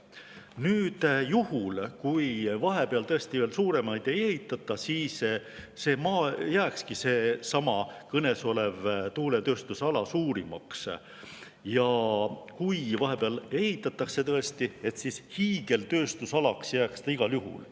Nüüd, juhul kui vahepeal veel suuremaid ei ehitata, siis see kõnesolev tuuletööstusala jääkski suurimaks, aga kui vahepeal tõesti ehitatakse, siis hiigeltööstusalaks jääks ta igal juhul.